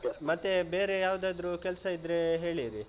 ಮತ್ತೆ ಬೇರೆ ಯಾವ್ದಾದ್ರು ಕೆಲ್ಸ ಇದ್ರೆ ಹೇಳಿರಿ.